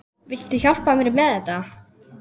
Viltu hjálpa mér með þetta?